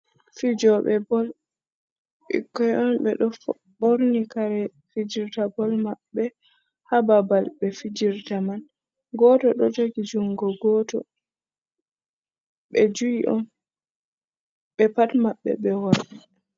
Fijoɓe Bol: Ɓikkon on ɓeɗo ɓorni kare ɓe fijirta bol maɓɓe ha babal ɓe fijirta man. Goto ɗo jogi jungo goto. ɓe ju’i on. Ɓe pat maɓɓe ɓe worɓe.